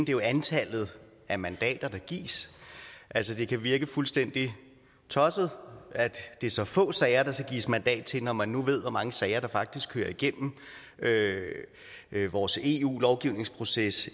jo antallet af mandater der gives altså det kan virke fuldstændig tosset at det er så få sager der skal gives mandat til når man nu ved hvor mange sager der faktisk kører igennem vores eu lovgivningsproces